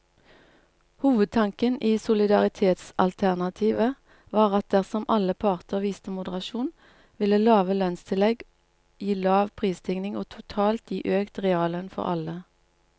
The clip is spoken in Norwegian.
Hovedtanken i solidaritetsalternativet var at dersom alle parter viste moderasjon, ville lave lønnstillegg gi lav prisstigning og totalt gi økt reallønn for alle.